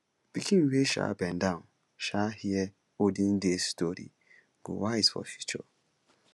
pikin wey um bend down um hear olden days story go wise for future